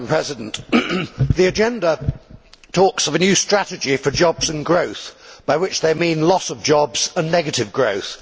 Madam President, the agenda talks of a new strategy for jobs and growth by which they mean loss of jobs and negative growth!